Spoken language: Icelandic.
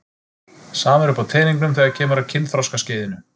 Sama er uppi á teningnum þegar kemur að kynþroskaskeiðinu.